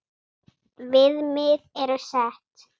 Viðmið eru sett.